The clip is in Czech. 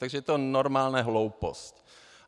Takže je to normálně hloupost.